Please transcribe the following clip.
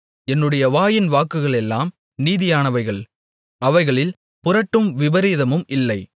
என்னுடைய வாயின் வாக்குகளெல்லாம் நீதியானவைகள் அவைகளில் புரட்டும் விபரீதமும் இல்லை